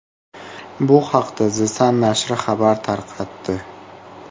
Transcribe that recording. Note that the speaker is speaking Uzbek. Bu haqda The Sun nashri xabar tarqatdi .